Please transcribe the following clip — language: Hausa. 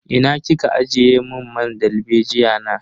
Ina kika ajiye mun man dalbejiya na?